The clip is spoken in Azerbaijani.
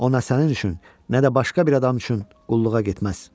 O nə sənin üçün, nə də başqa bir adam üçün qulluğa getməz.